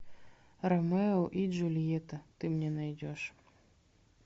ромео и джульетта ты мне найдешь